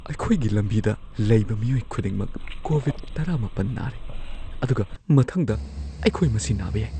ꯑꯩꯈꯣꯏꯒꯤ ꯂꯝꯕꯤꯗ ꯂꯩꯕ ꯃꯤꯑꯣꯏ ꯈꯨꯗꯤꯡꯃꯛ ꯀꯣꯚꯤꯗ -꯱꯹ ꯅꯥꯔꯦ ꯑꯗꯨꯒ ꯃꯊꯪꯗ ꯑꯩꯈꯣꯏ ꯃꯁꯤ ꯅꯥꯕ ꯌꯥꯏ꯫